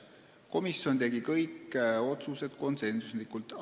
Komisjon tegi kõik otsused konsensuslikult.